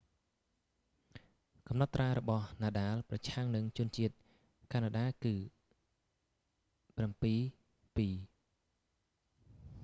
កំណត់ត្រារបស់ nadal ប្រឆាំងនឹងជនជាតិកាណាដា គឺ 7-2